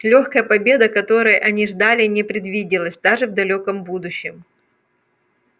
лёгкая победа которой они ждали не предвиделась даже в далёком будущем